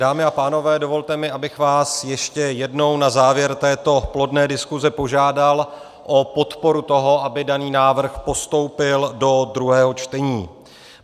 Dámy a pánové, dovolte mi, abych vás ještě jednou na závěr této plodné diskuse požádal o podporu toho, aby daný návrh postoupil do druhého čtení.